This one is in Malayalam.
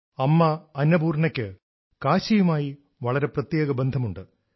അമ്മ അന്നപൂർണയ്ക്ക് കാശിയുമായി വളരെ പ്രത്യേക ബന്ധമുണ്ട്